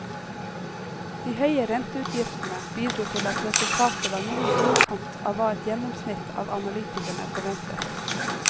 De høye renteutgiftene bidro til at resultatet var noe i underkant av hva et gjennomsnitt av analytikerne forventet.